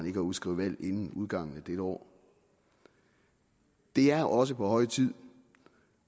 ikke at udskrive valg inden udgangen af dette år det er også på høje tid